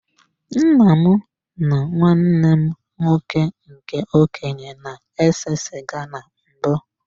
Nna m na nwanne m nwoke nke okenye na-ese sịga na mbụ.